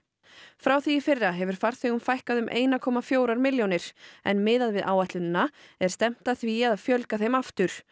frá því í fyrra hefur farþegum fækkað um eina komma fjórar milljónir en miðað við áætlunina er stefnt að því að fjölga þeim aftur